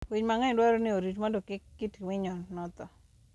Winy mang'eny dwarore ni orit mondo kik kit winyo no tho.